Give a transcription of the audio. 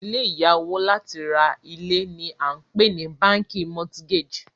ilé ìya owo láti ra ilé ni a npe ni bánkì mortgage